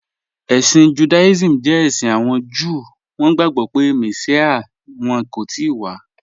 Ẹ̀ṣin Judaism jẹ ẹ̀ṣin awọn Júù, wọn gbagbọ pe Messia wọn kò tìí wà